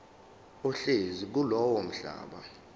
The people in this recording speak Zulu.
ohlezi kulowo mhlaba